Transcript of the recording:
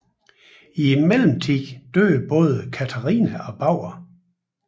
I mellemtiden døde både Katharina og Bauer